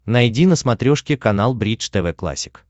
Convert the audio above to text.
найди на смотрешке канал бридж тв классик